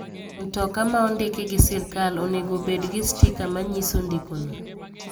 Mtoka ma ondiki gi sirkal onengo obed gi stika manyiso ndikono.